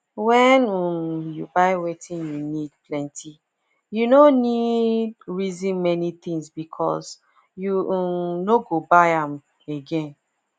when um you buy wetin you need plenty you no neeed reason many things because you um no go buy am again